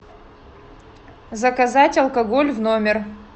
заказать алкоголь в номер